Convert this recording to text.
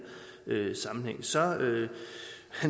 sammenhæng så